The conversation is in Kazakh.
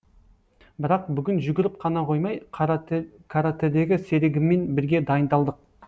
бірақ бүгін жүгіріп қана қоймай каратэдегі серігіммен бірге дайындалдық